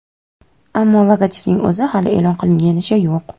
Ammo logotipning o‘zi hali e’lon qilinganicha yo‘q.